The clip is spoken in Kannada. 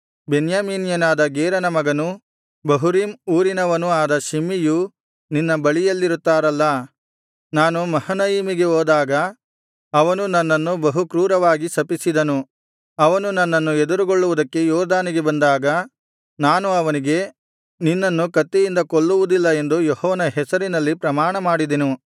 ಬೆನ್ಯಾಮೀನ್ಯನಾದ ಗೇರನ ಮಗನೂ ಬಹುರೀಮ್ ಊರಿನವನೂ ಆದ ಶಿಮ್ಮೀಯು ನಿನ್ನ ಬಳಿಯಲ್ಲಿರುತ್ತಾನಲ್ಲಾ ನಾನು ಮಹನಯಿಮಿಗೆ ಹೋದಾಗ ಅವನು ನನ್ನನ್ನು ಬಹು ಕ್ರೂರವಾಗಿ ಶಪಿಸಿದನು ಅವನು ನನ್ನನ್ನು ಎದುರುಗೊಳ್ಳುವುದಕ್ಕೆ ಯೊರ್ದನಿಗೆ ಬಂದಾಗ ನಾನು ಅವನಿಗೆ ನಿನ್ನನ್ನು ಕತ್ತಿಯಿಂದ ಕೊಲ್ಲುವುದಿಲ್ಲ ಎಂದು ಯೆಹೋವನ ಹೆಸರಿನಲ್ಲಿ ಪ್ರಮಾಣಮಾಡಿದೆನು